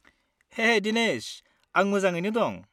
हेइ दिनेश! आं मोजाङैनो दं।